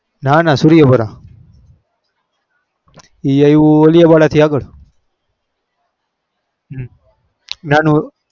નાના સુરેયાવાળા એ અવયું ઓળયા વાળા થી અગર